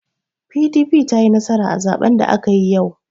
PDP ta yi nasara a zaben da aka yi yau.